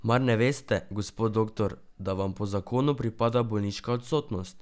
Mar ne veste, gospod doktor, da vam po Zakonu pripada bolniška odsotnost?